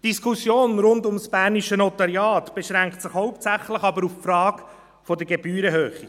Die Diskussion rund um das bernische Notariat beschränkt sich aber hauptsächlich auf die Frage der Gebührenhöhe.